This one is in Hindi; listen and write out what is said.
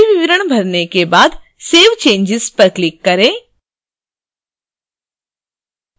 सभी विवरण भरने के बाद save changes पर click करें